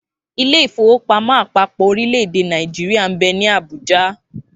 Ilé-ìfowópamó àpapò orílẹ̀-èdè Nàìjíríà nbẹ ní Àbújá.